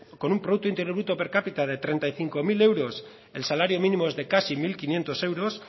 con un producto interior bruto per capita de treinta y cinco mil euros el salario mínimo es de casi mil quinientos euros